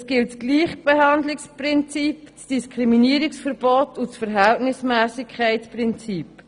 Es gilt das Gleichbehandlungsprinzip, das Diskriminierungsverbot und das Verhältnismässigkeitsprinzip.